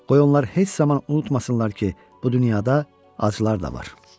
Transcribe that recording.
Qoy onlar heç zaman unutmasınlar ki, bu dünyada acılar da var.